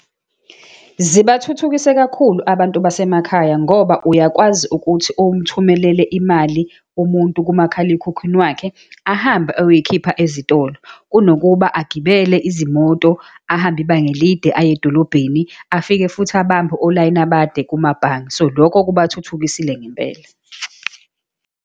Zibathuthukise kakhulu abantu basemakhaya, ngoba uyakwazi ukuthi umthumelele imali umuntu kumakhalekhukhwini wakhe, ahambe oyoyikhipha ezitolo, kunokuba agibele izimoto ahambe ibanga elide aye edolobheni, afike futhi abambe olayini abade kumabhange. So, lokho kubathuthukisile ngempela.